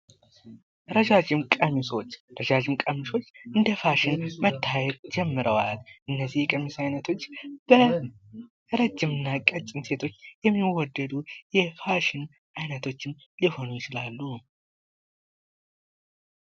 ረጃጅም ቀሚሶ ረጃጅም ቀሚሶች እንደ ፋሽን መታየት ጀምረዋል። እነዚህ የቀሚስ አይነቶች በረጅም እና በቀጭን ሴቶች የሚወደዱ የፋሽን አይነቶች ሊሆኑ ይችላሉ።